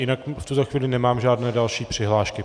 Jinak v tuto chvíli nemám žádné další přihlášky.